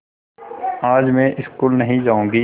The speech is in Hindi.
आज मैं स्कूल नहीं जाऊँगी